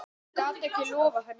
Ég gat ekki loftað henni.